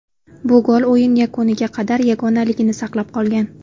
Bu gol o‘yin yakuniga qadar yagonaligini saqlab qolgan.